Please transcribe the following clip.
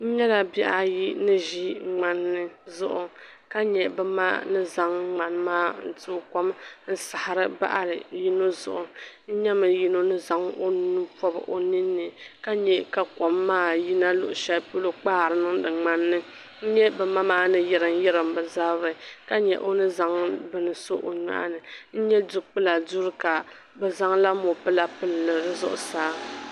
N nyɛla bihi ayi ni ʒi ŋmani ni zuɣu ka nyɛ bi ma ni zaŋ ŋmani maa n tooi kom n sabiri bahiri yino zuɣu n nyɛ la yino ni zaŋ o nuu pɔbu o nini ka nyɛ ka kom maa yina luɣishɛli polo n kpaari niŋdi ŋman ni n nye bi ma maa ni yiriŋ yiriŋ bi zabiri ka nyɛ o ni zaŋ bin so o nohi nin nya dukpula duu ka bi zaŋ la mopila pili zuɣusaa.